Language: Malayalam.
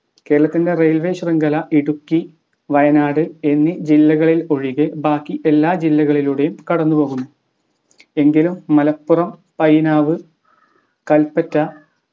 കേരളത്തിന്റെ railway ശൃംഖല ഇടുക്കി വയനാട് എന്നീ ജില്ലകളിൽ ഒഴികെ ബാക്കി എല്ലാ ജില്ലകളിലൂടെയും കടന്നുപോകുന്നു. എങ്കിലും മലപ്പുറം പൈനാവ് കല്പറ്റ